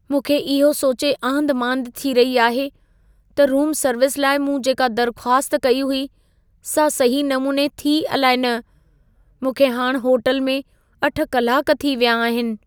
मूंखे इहो सोचे आंधिमांधि थी रही आहे त रूम सर्विस लाइ मूं जेका दर्ख़्वास्त कई हुई सां सही नमूने थी, अलाए न। मूंखे हाणि होटल में 8 कलाक थी विया आहिनि।